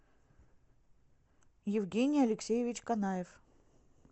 евгений алексеевич канаев